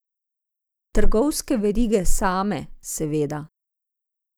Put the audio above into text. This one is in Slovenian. Trgovske verige same, seveda.